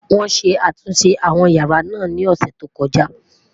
wón sé àtúnṣe àwọn yàrá nà ní ọsẹ tó koja